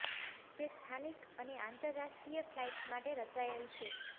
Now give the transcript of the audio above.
તે સ્થાનિક અને આંતરરાષ્ટ્રીય ફ્લાઇટ્સ માટે રચાયેલ છે